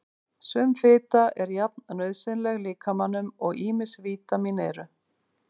Sum fita er jafn nauðsynleg líkamanum og ýmis vítamín eru.